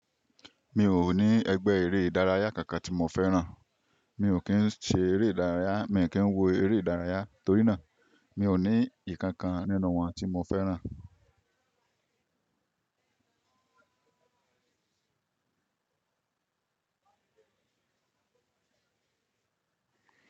Mi ò ní ẹgbẹ́ eré ìdárayá kankan tí mo fẹ́ràn. Mi ò kí ń ṣe eré ìdárayá, mi kí ń wo eré ìdárayá torí náà, mi ò ní ìkankan nínú wọn tí mo fẹ́ràn.